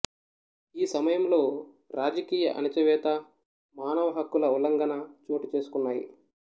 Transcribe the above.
ఈ సమయంలో రాజకీయ ఆణిచివేత మానవ హక్కుల ఉల్లంఘన చోటుచేసుకున్నాయి